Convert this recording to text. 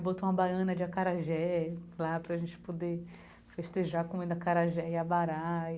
Botou uma baiana de acarajé, claro, para a gente poder festejar comendo acarajé e abará.